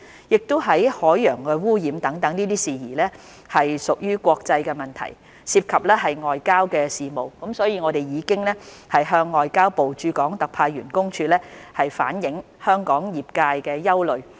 由於海洋污染等事宜屬國際問題，涉及外交事務，所以我們已向外交部駐港特派員公署反映香港業界的憂慮。